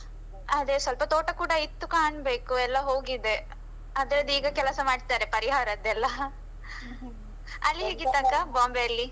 ಅದೇ ಸ್ವಲ್ಪ ತೋಟ ಕೂಡ ಇತ್ತು ಕಾಣ್ಬೆಕು, ಎಲ್ಲ ಹೋಗಿದೆ ಅದ್ರದ್ದು ಈಗ ಕೆಲಸ ಮಾಡ್ತಾರೆ ಪರಿಹಾರದ್ದೆಲ್ಲ. ಅಲ್ಲಿ ಹೇಗಿತಕ್ಕ Bombay ಯಲ್ಲಿ.